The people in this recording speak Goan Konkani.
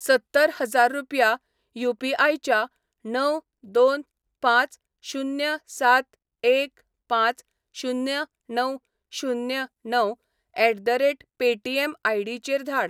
सत्तर हजार रुपया यू.पी.आय. च्या णव दोन पांच शुन्य सात एक पांच शुन्य णव शुन्य णव at the rate Paytm ID. चेर धाड